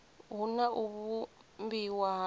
hu na u vhumbiwa ha